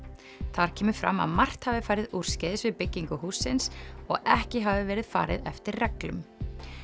þar kemur fram að margt hafi farið úrskeiðis við byggingu hússins og ekki hafi verið farið eftir reglum